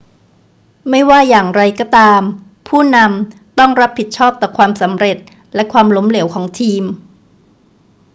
ไม่ว่าจะอย่างไรก็ตามผู้นำต้องรับผิดชอบต่อความสำเร็จและความล้มเหลวของทีม